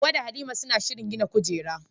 Hawwa da Halima suna shirin gina kujera.